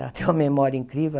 Ela tem uma memória incrível.